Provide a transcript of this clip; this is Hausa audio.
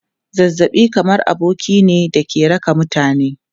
Zazzabi kamar aboki ne da ke raka mutane.